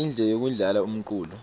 indle yekudlala umculo